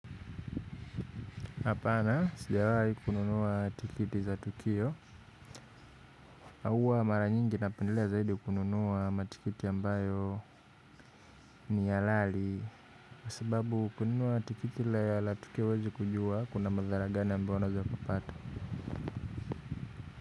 Apana, sijawai kununua tikiti za tukio huwa mara nyingi napendelea zaidi kununua matikiti ambayo ni halali kwa sababu kununua tikiti ya latukio huwezi kujua kuna madhara gani ambayo unaweza ukapata.